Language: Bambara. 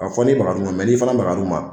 fɔ ni bagar'u ma n'i fana bagar'u ma